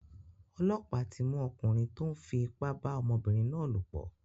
Ọlọ́pàá tí mú ọkùnrin tó ń fi ipá ba ọmọbìnrin náà lòpọ̀.